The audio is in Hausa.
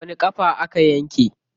Wani ƙafa aka yanke?